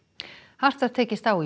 hart var tekist á í